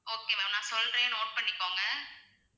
okay ma'am நான் சொல்றேன் note பண்ணிக்கோங்க